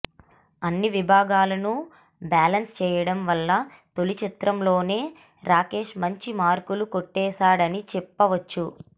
అన్ని విభాగాలను బ్యాలెన్స్ చేయడం వల్ల తొలిచిత్రంతోనే రాకేష్ మంచి మార్కులు కొట్టేశాడని చెప్పవచ్చు